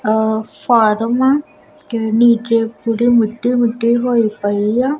ਆ ਫਾਰਮ ਪੂਰੀ ਮਿੱਟੀ ਮਿੱਟੀ ਹੋਈ ਪਈ ਆ।